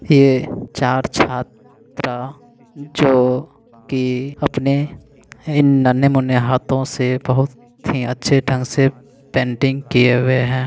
ये चार छात्रा जो की अपने इन नन्हे मूनहे हाथों से बहुत ही अच्छे ढंग से पेंटिंग किए हुए है।